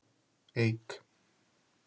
Eik